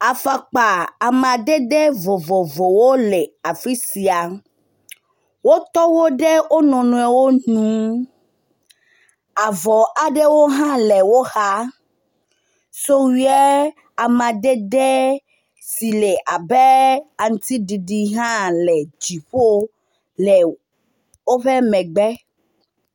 Afɔkpa amdede vovovovwo le afi sia. Wotɔ wo ɖe wo nɔnɔewo nu. Avɔ aɖewo hã le woxa. Fɔwuia amadede si le abe aŋtiɖiɖi hã le dziƒo le woƒe megbe.